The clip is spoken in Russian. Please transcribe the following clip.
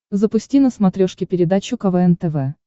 запусти на смотрешке передачу квн тв